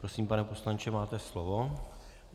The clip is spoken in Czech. Prosím, pane poslanče, máte slovo.